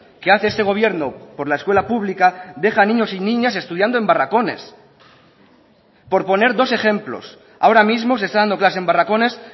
que hace este gobierno por la escuela pública deja a niños y niñas estudiando en barracones por poner dos ejemplos ahora mismo se está dando clase en barracones